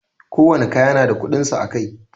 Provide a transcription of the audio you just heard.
Ko wani kaya na da kudinsa a Kai.